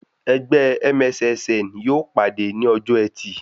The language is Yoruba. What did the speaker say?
Ẹgbẹ́ MSSN yóò pàdé ní ọjọ́ ẹtì